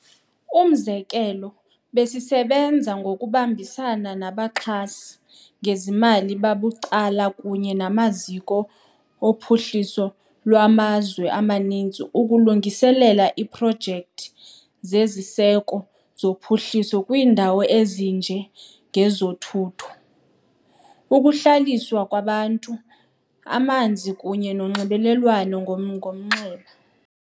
Umzekelo, besisebenza ngokubambisana nabaxhasi ngezimali babucala kunye namaziko ophuhliso lwamazwe amaninzi ukulungiselela iiprojekthi zeziseko zophuhliso kwiindawo ezinje ngezothutho, ukuhlaliswa kwabantu, amanzi kunye nonxibelelwano ngomnxeba.